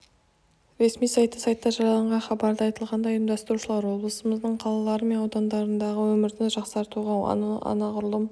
ресми сайты сайтта жарияланған хабарда айтылғандай ұйымдастырушылар облысымыздың қалалары мен аудандарындағы өмірді жақсартуға оны анағұрлым